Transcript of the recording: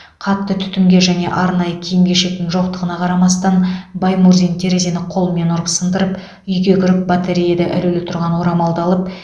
қатты түтінге және арнайы киім кешектің жоқтығына қарамастан баймурзин терезені қолмен ұрып сындырып үйге кіріп батареяда ілулі тұрған орамалды алып